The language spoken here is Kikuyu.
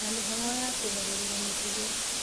Na mĩhang'o ya kũgarurĩra mĩtugo